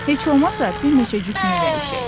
Heç olmasa bir neçə cütünü dəyişək.